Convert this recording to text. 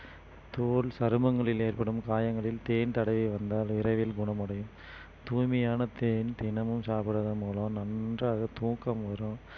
தோல் சருமங்களில் ஏற்படும் காயங்களில் தேன் தடவி வந்தால் விரைவில் குணமடையும் தூய்மையான தேன் தினமும் சாப்பிடுவதன் மூலம் நன்றாக தூக்கம் வரும்